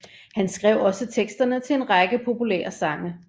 Han skrev også teksterne til en række populære sange